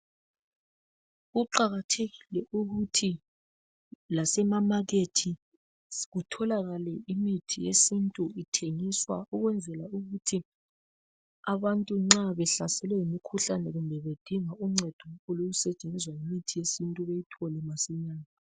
Kuqakathekile ukuthi lasemamakethi kutholakale imithi yesintu ithengiswa ukwenzela ukuthi abantu nxa behlaselwe yimikhuhlane kumbe bedinga uncedo olusetshenzwa yimithi yesintu beyithole masinya.